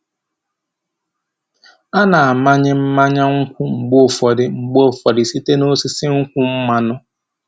A na-amanye mmanya nkwụ mgbe ụfọdụ mgbe ụfọdụ site n’osisi nkwụ mmanụ.